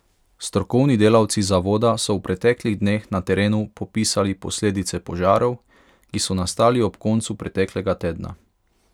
Strokovni delavci zavoda so v preteklih dneh na terenu popisali posledice požarov, ki so nastali ob koncu preteklega tedna.